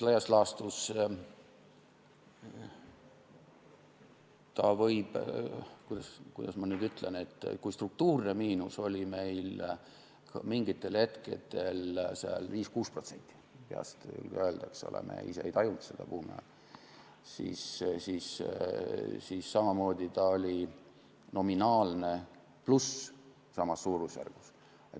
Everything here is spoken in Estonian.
Laias laastus, kuidas ma nüüd ütlen, kui struktuurne miinus oli meil mingitel hetkedel 5–6% – peast ei või öelda, eks ole –, me ise ei tajunud seda buumiajal, siis samamoodi oli nominaalne pluss samas suurusjärgus.